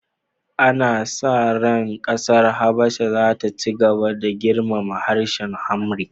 Ana sa ran kasar Habasha za ta ci gaba da girmama harshen Amharic